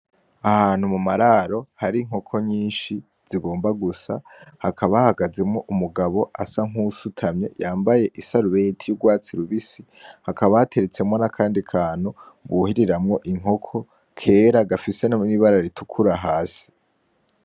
Ahantu mu mararo hari inkoko nyinshi zigomba gusa, hakaba hahagazemo umugabo asa nkuwusutamye yambaye isarubeti ry'urwatsi rubisi hakaba hateretsemo nakandi kantu, ngo we iriramo inkoko kera gafisemwo ibara ritukura hasi.